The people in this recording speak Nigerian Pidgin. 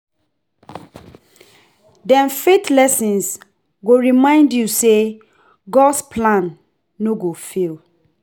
Dem faith lessons go remind yu say God’s plan no go fail.